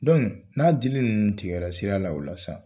n'a dili ninnu tigɛra sira la o la sa,